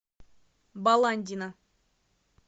баландина